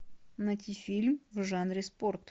найти фильм в жанре спорт